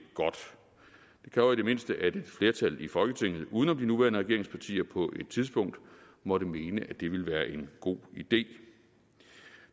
kræver i det mindste at et flertal i folketinget uden om de nuværende regeringspartier på et tidspunkt måtte mene at det ville være en god idé